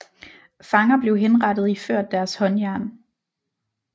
Fanger blev henrettet iført deres håndjern